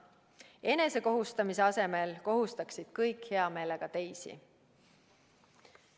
Enesekohustamise asemel kohustaksid kõik hea meelega teisi.